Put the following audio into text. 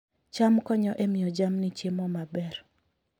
cham konyo e miyo jamni chiemo maber